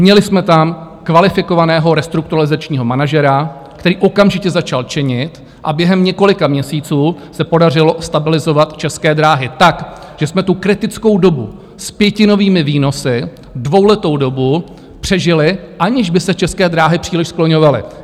Měli jsme tam kvalifikovaného restrukturalizačního manažera, který okamžitě začal činit, a během několika měsíců se podařilo stabilizovat České dráhy tak, že jsme tu kritickou dobu s pětinovými výnosy, dvouletou dobu, přežili, aniž by se České dráhy příliš skloňovaly.